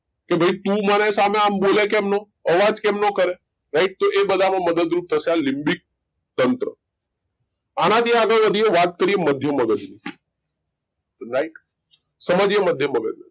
કે તું ભાઈ સનો અમ બોલે અવાજ કેમ નો કરે right મદદ રૂપ થશે આ લીબીક તંત્રઆ થી આગળ વધીએ તો વાત કરીએ મધ્ય મગજ ની right સમજીએ મધ્ય મગજ